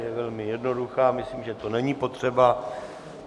Je velmi jednoduchá, myslím, že to není potřeba.